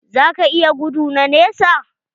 Za ka iya gudu na nesa?